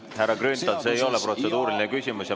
Härra Grünthal, see ei ole protseduuriline küsimus.